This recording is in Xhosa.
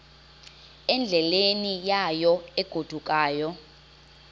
endleleni yayo egodukayo